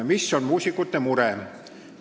Mis on muusikute mure?